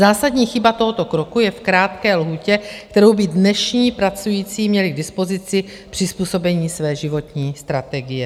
Zásadní chyba tohoto kroku je v krátké lhůtě, kterou by dnešní pracující měli k dispozici k přizpůsobení své životní strategie.